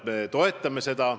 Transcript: Me toetame seda.